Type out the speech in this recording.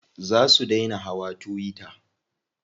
Za su dai na hawa tuwiya.